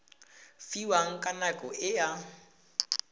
fiwang ka nako e a